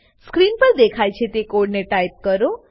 screen પર દેખાય છે તે કોડને ટાઈપ કરો